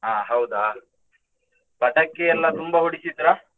ಅಹ್ ಹೌದಾ! ಪಟಾಕಿ ಎಲ್ಲಾ ತುಂಬಾ ಹೊಡಿತಿದ್ರಾ?